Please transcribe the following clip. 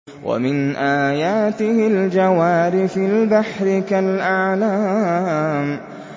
وَمِنْ آيَاتِهِ الْجَوَارِ فِي الْبَحْرِ كَالْأَعْلَامِ